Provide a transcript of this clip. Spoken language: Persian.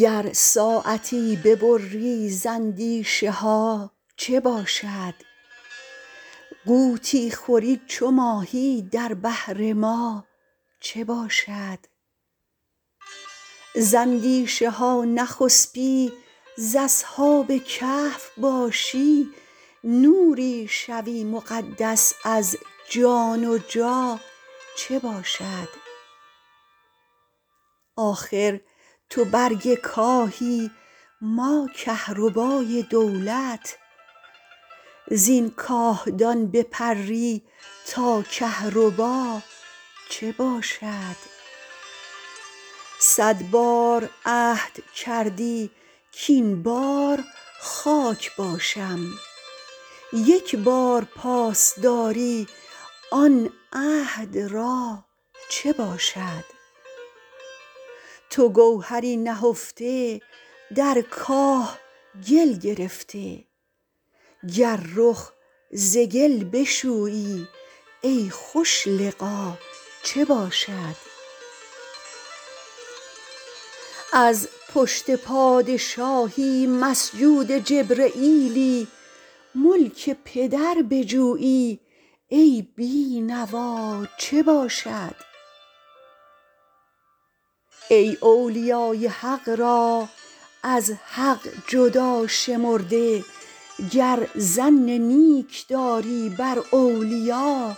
گر ساعتی ببری ز اندیشه ها چه باشد غوطی خوری چو ماهی در بحر ما چه باشد ز اندیشه ها نخسپی ز اصحاب کهف باشی نوری شوی مقدس از جان و جا چه باشد آخر تو برگ کاهی ما کهربای دولت زین کاهدان بپری تا کهربا چه باشد صد بار عهد کردی کاین بار خاک باشم یک بار پاس داری آن عهد را چه باشد تو گوهری نهفته در کاه گل گرفته گر رخ ز گل بشویی ای خوش لقا چه باشد از پشت پادشاهی مسجود جبرییلی ملک پدر بجویی ای بی نوا چه باشد ای اولیای حق را از حق جدا شمرده گر ظن نیک داری بر اولیا